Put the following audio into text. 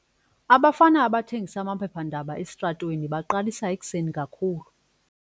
Abafana abathengisa amaphephandaba esitratweni baqalisa ekuseni kakhulu.